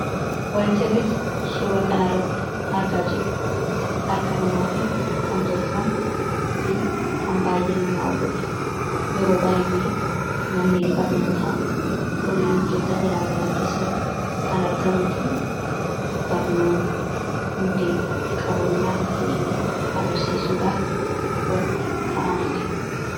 Wanti nuti suuraa kanarratti argaa jirru kun, harka namaatii kan tolfamee fi kan baay'ee nama hawwatu, yeroo baay'ee manneen barnootaa kolleejjota garaagaraa keessatti kan argamuu fi barnoonni hundee qaroominaa akka ta'e agarsiisuudhaaf wanta kaa'amedha.